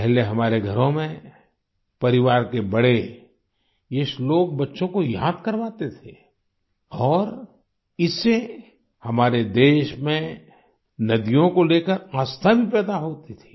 पहले हमारे घरों में परिवार के बड़े ये श्लोक बच्चों को याद करवाते थे और इससे हमारे देश में नदियों को लेकर आस्था भी पैदा होती थी